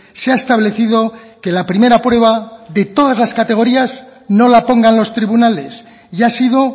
se ha establecido que la primera prueba de todas las categorías no la pongan los tribunales y ha sido